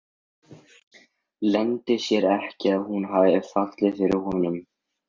Leyndi sér ekki að hún hafði fallið fyrir honum.